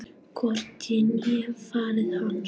Hvorki ég né faðir hans.